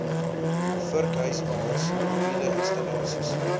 vurkhyswaens mobiele installasies